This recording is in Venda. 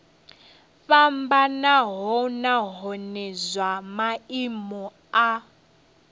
fhambanaho nahone zwa maimo a